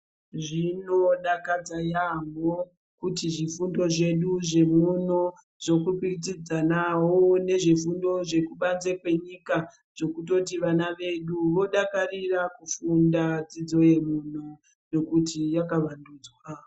Zvinodakadza yampho kuti zvifundo zvedu zvemuno zvokwikwidzanawo nezvefundo zvekubanze kwenyika zvekutoti vana vedu vodakarira kufunda dzidzo yemuno ngekuti yakavandudzwa.